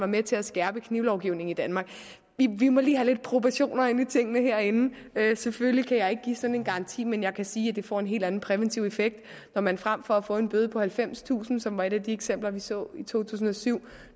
med til at skærpe knivlovgivningen i danmark vi må lige have lidt proportioner ind i tingene herinde selvfølgelig kan jeg ikke give sådan en garanti men jeg kan sige at det får en helt anden præventiv effekt når man frem for at få en bøde på halvfemstusind kr som var et af de eksempler vi så i to tusind og syv